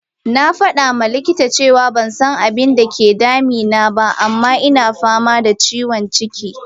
Na fada ma likita cewa ban san abinda ke dame ni ba, amma ina fama da ciwon ciki.